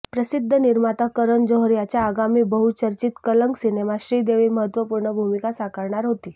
प्रसिध्द निर्माता करण जोहर याच्या आगामी बहुचर्चित कलंक सिनेमात श्रीदेवी महत्त्वपूर्ण भूमिका साकारणार होती